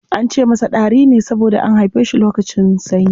An ce masa Ɗari ne saboda an haife shi lokacin sanyi.